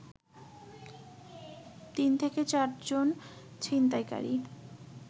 ৩-৪ জন ছিনতাইকারী